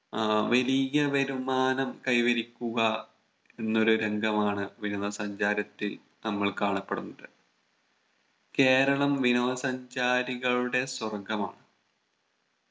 ആഹ് വലിയ വരുമാനം കൈവരിക്കുക എന്നൊരു രംഗമാണ് വിനോദ സഞ്ചാരത്തിൽ നമ്മൾ കാണപ്പെടുന്നത് കേരളം വിനോദ സഞ്ചാരികളുടെ സ്വർഗമാണ്